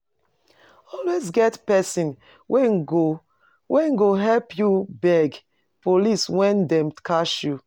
Always get persin wey go wey go help you beg police when dem catch you